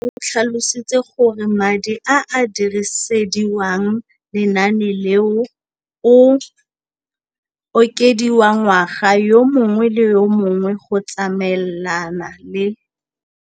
Rakwena o tlhalositse gore madi a a dirisediwang lenaane leno a okediwa ngwaga yo mongwe le yo mongwe go tsamaelana le